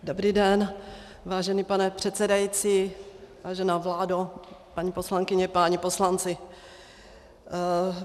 Dobrý den, vážený pane předsedající, vážená vládo, paní poslankyně, páni poslanci.